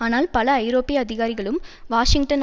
ஆனால் பல ஐரோப்பிய அதிகாரிகளும் வாஷிங்டன்